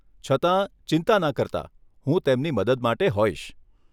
છતાં, ચિંતા ન કરતા, હું તેમની મદદ માટે હોઈશ.